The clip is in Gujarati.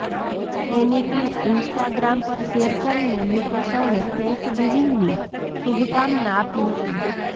એની ક્લીપ ઇન્સ્ટાગ્રામ પર શૅર કરીને નિકે સૌને થૅન્કસ ગિવિંગની શુભકામના આપી હતી